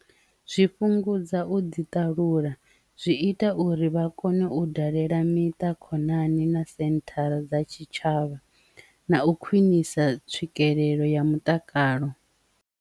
Zwi fhungudza u ḓi ṱalula zwi ita uri vha kone u dalela miṱa khonani na senthara dza tshitshavha na u khwinisa tswikelelo ya mutakalo.